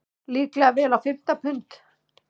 Líklega vel á fimmta pund.